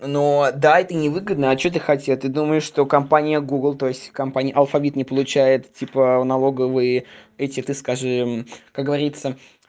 ну да это невыгодно а что ты хотела ты думаешь что компания гугл то есть компании алфавит не получает типа налоговые эти ты скажи как говорится